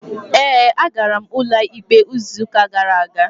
Ee, agara m ụlọikpe izuụka gara aga.